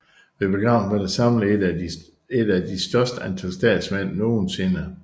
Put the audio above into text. Ved begravelsen var der samlet et af de største antal statsmænd nogensinde